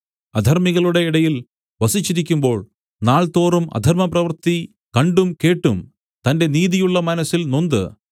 അധർമ്മികളുടെ ഇടയിൽ വസിച്ചിരിക്കുമ്പോൾ നാൾതോറും അധർമ്മപ്രവൃത്തി കണ്ടും കേട്ടും തന്റെ നീതിയുള്ള മനസ്സിൽ നൊന്ത്